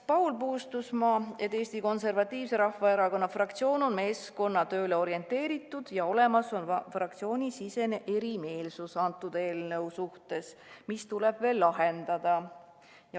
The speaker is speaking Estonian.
Paul Puustusmaa märkis, et Eesti Konservatiivse Rahvaerakonna fraktsioon on meeskonnatööle orienteeritud, aga praegu on selle eelnõu osas fraktsioonisisene erimeelsus, mis tuleb lahendada.